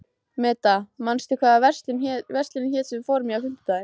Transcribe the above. Meda, manstu hvað verslunin hét sem við fórum í á fimmtudaginn?